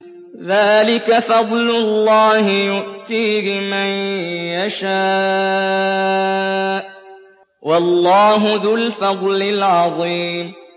ذَٰلِكَ فَضْلُ اللَّهِ يُؤْتِيهِ مَن يَشَاءُ ۚ وَاللَّهُ ذُو الْفَضْلِ الْعَظِيمِ